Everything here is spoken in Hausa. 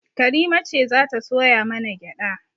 Karima ce za ta soya mana gyaɗa